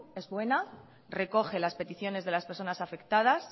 es buena recoge las peticiones de las personas afectadas